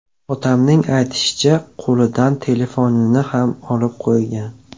Otamning aytishicha, qo‘lidan telefonini ham olib qo‘ygan.